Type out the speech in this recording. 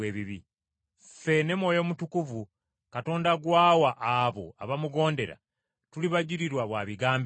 Ffe ne Mwoyo Mutukuvu Katonda gw’awa abo abamugondera tuli bajulira ba bigambo ebyo.”